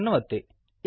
save ಅನ್ನು ಒತ್ತಿ